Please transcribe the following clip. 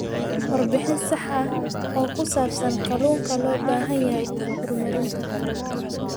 Warbixin sax ah oo ku saabsan kalluunka loo baahan yahay horumarinta.